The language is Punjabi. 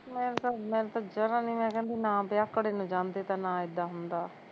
ਮੈਂਨੂੰ ਤਾਂ ਮੈਂਨੂੰ ਤਾਂ ਜ਼ਰਾ ਨੀ ਮੈਂ ਕਹਿੰਦੀ ਨਾ ਵਿਆਹਕੜੇ ਨੂੰ ਜਾਂਦੇ ਤਾਂ ਨਾ ਏਦਾਂ ਹੁੰਦਾ